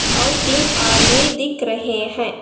और तीन आदमी दिख रहे हैं।